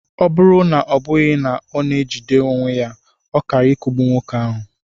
Ọ bụrụ na ọ bụghị na o jidere onwe ya, ọ kaara ikugbu nwoke ahụ.